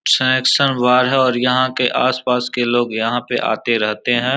संरक्षण विभाग है और यहाँ के आस-पास के लोग यहाँ पे आते रहते हैं।